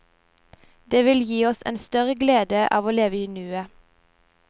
Det vil gi oss en større glede av å leve i nuet.